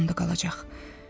Fərhadın yanında qalacaq.